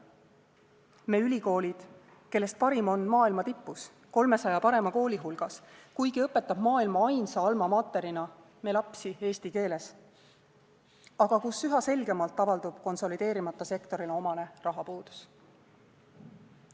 Me ülikoolid, kellest parim on maailma tipus, 300 parema kooli hulgas, kuigi õpetab maailma ainsa alma mater’ina me lapsi eesti keeles, aga kus üha selgemalt avaldub konsolideerimata sektorile omane rahapuudus.